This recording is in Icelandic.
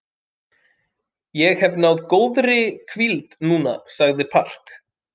Ég hef náð góðri hvíld núna, sagði Park.